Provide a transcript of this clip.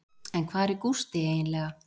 En hvar er Gústi eiginlega?